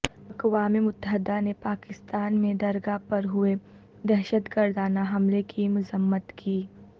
اقوام متحدہ نے پاکستان میں درگاہ پر ہوئے دہشت گردانہ حملے کی مذمت کی